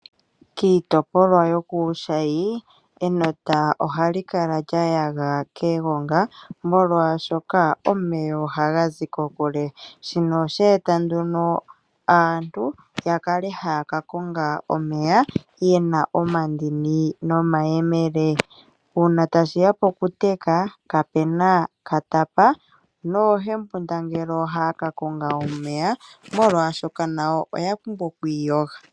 Kiitopolwa yokushayi enota ohali kala lya yaga kegonga molwashoka omeya ohaga zi kokule shino osheeta nduno aantu yakale haya ka konga omeya yena omandini nomayemele, uuna tashiya pokuteka kapena katapa noohembunda ngele ohaya ka konga omeya molwashoka nayo oya pumbwa oku iyoga.